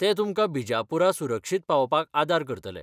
ते तुमकां बिजापूरा सुरक्षीत पावोवपाक आदार करतले.